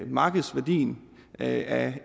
markedsværdien af